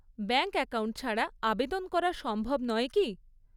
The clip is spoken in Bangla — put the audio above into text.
ব্যাঙ্ক অ্যাকাউন্ট ছাড়া আবেদন করা সম্ভব নয় কি?